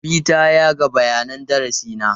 Habi ta yaga bayanin darasi na.